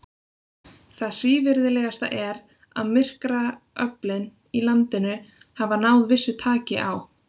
Það svívirðilegasta er, að myrkraöflin í landinu hafa náð vissu taki á.